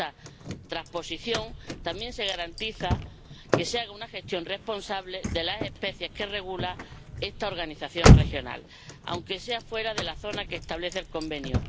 Con esta transposición también se garantiza que se haga una gestión responsable de las especies que regula esta organización regional, aunque sea fuera de la zona que establece el Convenio.